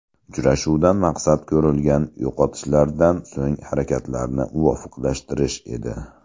Uchrashuvdan maqsad ko‘rilgan yo‘qotishlardan so‘ng harakatlarni muvofiqlashtirish edi.